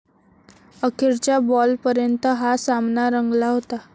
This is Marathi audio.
अखेरच्या बॉलपर्यंत हा सामना रंगला होता.